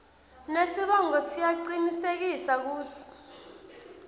nesibongo ngiyacinisekisa kutsi